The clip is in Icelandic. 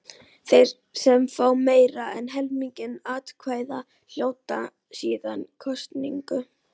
Þeir sem fá meira en helming atkvæða hljóta síðan kosningu.